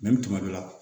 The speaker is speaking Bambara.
Nɛni tuma dɔ la